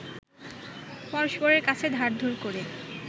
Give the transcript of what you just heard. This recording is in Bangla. পরস্পরের কাছে ধার-ধোর করে